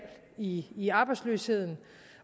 i i arbejdsløsheden